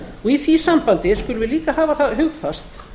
í því sambandi skulum við líka hafa það hugfast